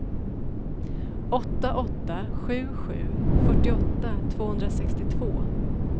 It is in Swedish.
åtta åtta sju sju fyrtioåtta tvåhundrasextiotvå